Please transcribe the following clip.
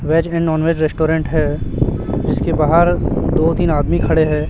Veg and non veg restaurant है जिसके बाहर दो तीन आदमी खड़े हैं।